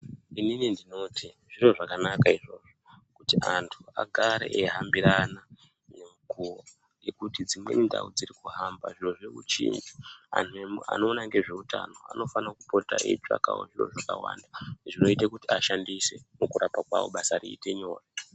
Ini ndinoti zviro zvakanaka izvozvo kuti antu agare eihambirana ngemukuwo ngekuti dzimweni ndau dziri kuhamba zviro zviri kuchinja. Antu anoona ngezvehutano anofanirwa kupota veitsvakawo zviro zvakawanda zvinoita kuti ashandise mukurapa kwavo zvinoite kuti basa ravo riite nyore.